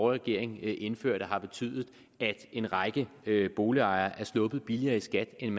regering indførte har betydet at en række boligejere er sluppet billigere i skat end